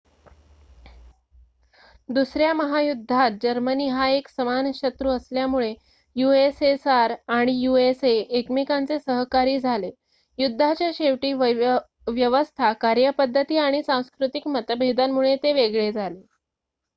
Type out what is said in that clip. दुसऱ्या महायुद्धात जर्मनी हा एक समान शत्रू असल्यामुळे यूएसएसआर आणि यूएसए एकमेकांचे सहकारी झाले युद्धाच्या शेवटी व्यवस्था कार्यपद्धती आणि सांस्कृतिक मतभेदांमुळे ते वेगळे झाले